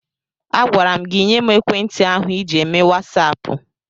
Agwara m gị nye m ekwentị ahụ ịji eme wasaapụ!